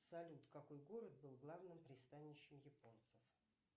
салют какой город был главным пристанищем японцев